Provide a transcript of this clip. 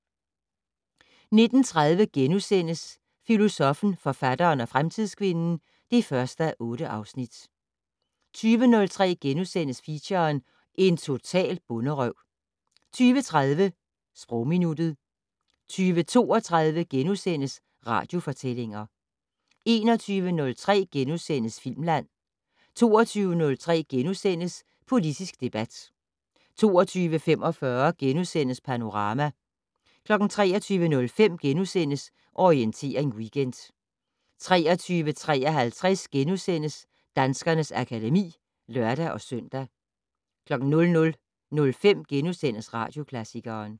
19:30: Filosoffen, forfatteren og fremtidskvinden (1:8)* 20:03: Feature: En total bonderøv * 20:30: Sprogminuttet 20:32: Radiofortællinger * 21:03: Filmland * 22:03: Politisk debat * 22:45: Panorama * 23:05: Orientering Weekend * 23:53: Danskernes akademi *(lør-søn) 00:05: Radioklassikeren *